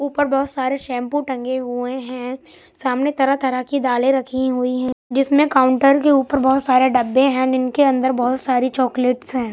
ऊपर बहोत सारे शैंपू टंगे हुए हैं सामने तरह तरह की दालें रखी हुई है जिसमें काउंटर के ऊपर बहोत सारे डब्बे हैं जिनके अंदर बहोत सारी चॉकलेट है।